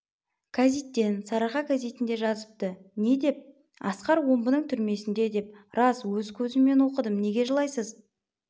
кәзиттен сарыарқа кәзітінде жазыпты не деп асқар омбының түрмесінде деп рас өз көзіммен оқыдым неге жылайсыз